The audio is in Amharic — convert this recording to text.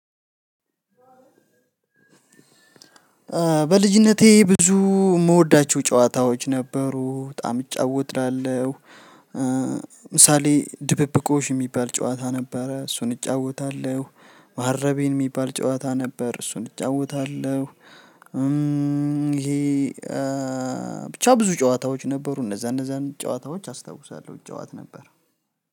በልጅነቴ ብዙ እምወዳቸው ጨዋታዎች ነበሩ በጣም እጫወታለሁ ምሳሌ ድብብቆሽ እሚባል ጨዋታ ነበረ እሱን እጫወታለሁ መሃረቤን ሚባል ጨዋታ ነበር እሱን እጫወታለሁ። ይሄ ብቻ ብዙ ጨዋታዎች ነበሩ እነዛ እነዛን ጨዋታዎች አስታውሳለሁ እጫወት ነበር።